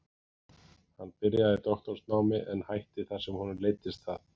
Hann byrjaði í doktorsnámi en hætti þar sem honum leiddist það.